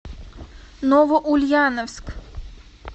новоульяновск